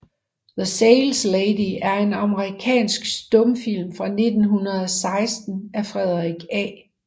The Saleslady er en amerikansk stumfilm fra 1916 af Frederick A